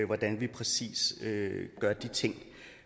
hvordan vi præcis gør de ting